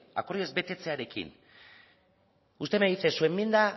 akordioa ez betetzearekin usted me dice que su enmienda